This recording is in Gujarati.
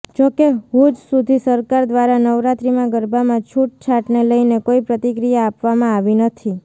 જો કે હુજ સુધી સરકાર દ્વારા નવરાત્રિમાં ગરબામાં છૂટછાટને લઇને કોઇ પ્રતિક્રિયા આપવામાં આવી નથી